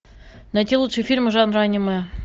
найти лучшие фильмы жанра аниме